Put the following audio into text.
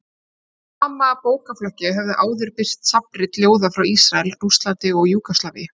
Í sama bókaflokki höfðu áður birst safnrit ljóða frá Ísrael, Rússlandi, Júgóslavíu